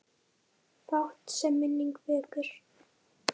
Fátt, sem minning vekur.